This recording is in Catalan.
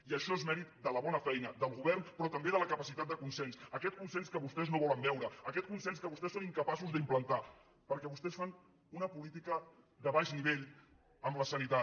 i això és mèrit de la bona feina del govern però també de la capacitat de consens aquest consens que vostès no volen veure aquest consens que vostès són incapaços d’implantar perquè vostès fan una política de baix nivell amb la sanitat